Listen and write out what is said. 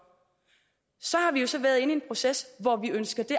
så har vi jo så været inde i en proces hvor vi ønsker det